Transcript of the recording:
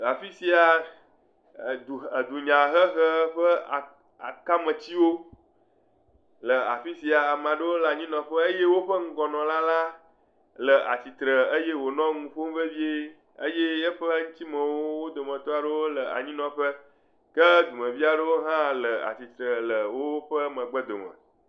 Afi sia, edunyahehe ƒe aa akametiwo le afi sia eye ama ɖewo le anyinɔƒe eye woƒe ŋgɔnɔla la le atsitre eye wònɔ nu ƒom vevie eye eƒe ŋutimewo, wo dometɔ aɖewo le anyinɔƒe. Ke dumevi aɖewo hã le atsitre le woƒe megbedome.